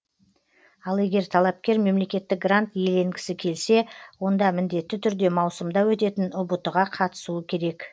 ал егер талапкер мемлекеттік грант иеленгісі келсе онда міндетті түрде маусымда өтетін ұбт ға қатысуы керек